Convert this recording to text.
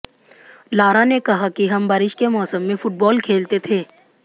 Lara ने कहा कि हम बारिश के मौसम में फुटबॉल खेलते थे